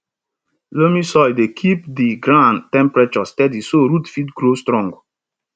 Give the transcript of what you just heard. loamy soil dey keep di ground temperature steady so root fit grow strong